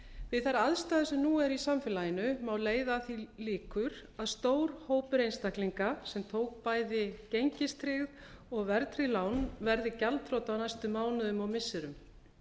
við þær aðstæður sem nú eru í samfélaginu má leiða að því líkur að stór hópur einstaklinga sem tók bæði gengistryggð og verðtryggð lán verði gjaldþrota á næstu mánuðum og missirum